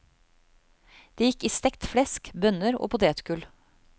Det gikk i stekt flesk, bønner og potetgull.